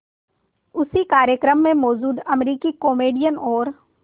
उसी कार्यक्रम में मौजूद अमरीकी कॉमेडियन और